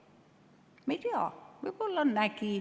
Me ei tea, võib-olla nägi.